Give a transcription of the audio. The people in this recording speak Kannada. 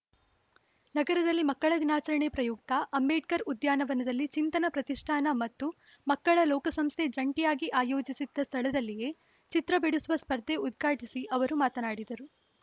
ನಗರದಲ್ಲಿ ಮಕ್ಕಳ ದಿನಾಚರಣೆ ಪ್ರಯುಕ್ತ ಅಂಬೇಡ್ಕರ್‌ ಉದ್ಯಾನ ವನದಲ್ಲಿ ಚಿಂತನ ಪ್ರತಿಷ್ಠಾನ ಮತ್ತು ಮಕ್ಕಳ ಲೋಕ ಸಂಸ್ಥೆ ಜಂಟಿಯಾಗಿ ಆಯೋಜಿಸಿದ್ದ ಸ್ಥಳದಲ್ಲಿಯೇ ಚಿತ್ರ ಬಿಡಿಸುವ ಸ್ಪರ್ಧೆ ಉದ್ಘಾಟಿಸಿ ಅವರು ಮಾತನಾಡಿದರು